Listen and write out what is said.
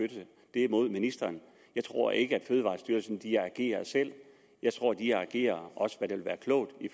det er mod ministeren jeg tror ikke fødevarestyrelsen agerer selv jeg tror de agerer hvad også vil være klogt i